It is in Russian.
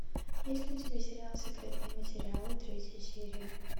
есть ли у тебя сериал секретные материалы третья серия